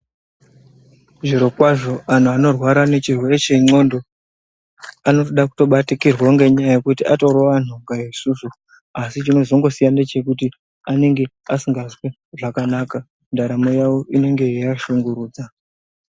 Zviro kwazvo anhu anorwara ngechirwere chendxondo Anotode kutobatikirwa ngenyaya yekuti atori vanhu nga isusu asi chinozongosiyana ngechekuti anenge asikazwi zvakanaka ndaramo yawo inenge yeiashungurudza.